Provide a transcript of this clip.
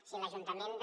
si l’ajuntament de